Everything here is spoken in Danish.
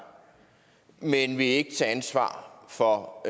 men vil ikke tage ansvar for